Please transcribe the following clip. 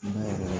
Naamu